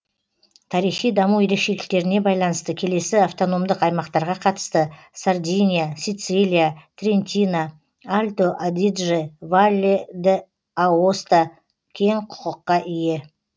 тарихи даму ерекшеліктеріне байланысты келесі автономдық аймақтарға қатысты сардиния сицилия трентино альто адидже валле д аоста кең құқыққа ие